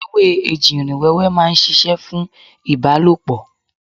Ewé ejìrìn wẹ́wẹ́ ma ń ṣiṣẹ́ fún ìbálòpọ̀.